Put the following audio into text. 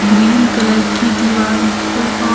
green colour की दीवार से और--